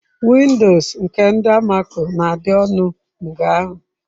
Windoos nke ndi almako na-adị ọnụ mgeahu.